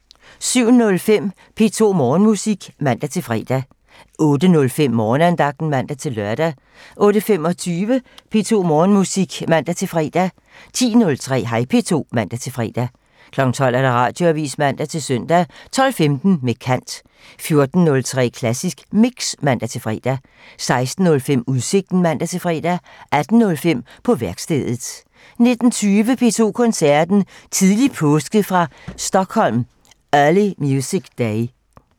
07:05: P2 Morgenmusik (man-fre) 08:05: Morgenandagten (man-lør) 08:25: P2 Morgenmusik (man-fre) 10:03: Hej P2 (man-fre) 12:00: Radioavisen (man-søn) 12:15: Med kant 14:03: Klassisk Mix (man-fre) 16:05: Udsigten (man-fre) 18:05: På værkstedet (man) 19:20: P2 Koncerten - Tidlig påske fra Stockholm Early Music Day